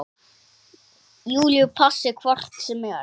Júlíu passi hvort sem er.